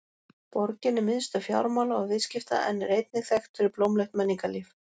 Borgin er miðstöð fjármála og viðskipta en er einnig þekkt fyrir blómlegt menningarlíf.